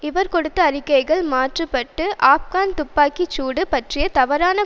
இவர் கொடுத்த அறிக்கைகள் மாற்ற பட்டு ஆப்கான் துப்பாக்கி சூடு பற்றிய தவறான